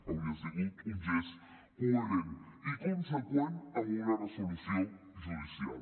hauria sigut un gest coherent i conseqüent amb una resolució judicial